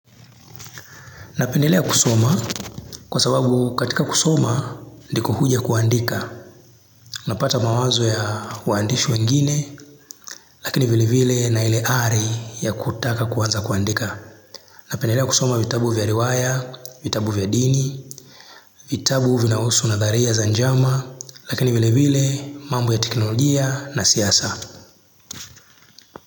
Napendelea kusoma kwa sababu katika kusoma ndiko huja kuandika. Unapata mawazo ya waandishi wengine lakini vile vile na ile ari ya kutaka kuanza kuandika. Napendelea kusoma vitabu vya riwaya, vitabu vya dini, vitabu vinahusu nadharia za njama lakini vile vile mambo ya teknologia na siasa.